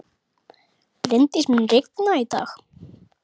Bryndís, mun rigna í dag?